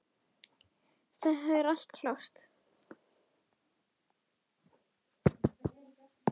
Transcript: Það er allt klárt.